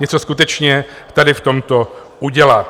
něco skutečně tady v tomto udělat.